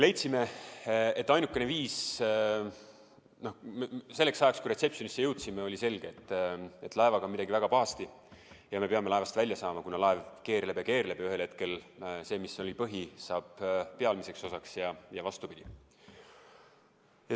Selleks ajaks, kui me reception'i jõudsime, oli selge, et laevaga on midagi väga pahasti ja me peame laevast välja saama, kuna laev keerleb ja keerleb ja ühel hetkel see, mis oli põhi, saab pealmiseks osaks ja vastupidi.